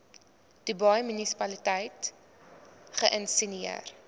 dubai munisipaliteit geïnisieer